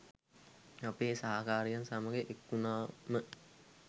අපේ සහකාරියන් සමග එක්වුණාම